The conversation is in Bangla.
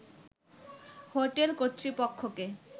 হোটেল কর্তৃপক্ষকে